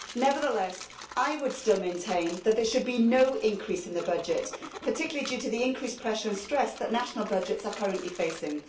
Nevertheless, I would still maintain that there should be no increase in the budget, particularly due to the increased pressure and stress that national budgets are currently facing.